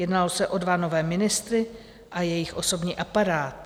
Jednalo se o dva nové ministry a jejich osobní aparát.